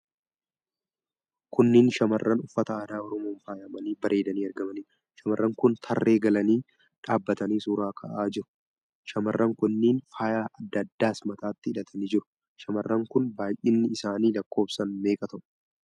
Kunneen shamarran uffata aadaa Oromoon faayamanii bareedaniii argamanidha. Shamarran kun tarree galanii dhaabatanii suuraa ka'aa jiru. Shamarran kunneen faaya adda addaas mataatti hidhatanii jiru. Shamarran kun baay'inni isaanii lakkoofsaan meeqa ta'u?